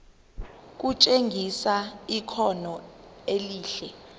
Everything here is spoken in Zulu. kutshengisa ikhono elihle